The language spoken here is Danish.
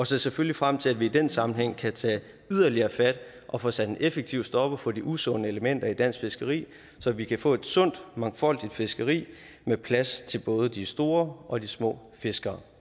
ser selvfølgelig frem til at vi i den sammenhæng kan tage yderligere fat og få sat en effektiv stopper for de usunde elementer i dansk fiskeri så vi kan få et sundt mangfoldigt fiskeri med plads til både de store og de små fiskere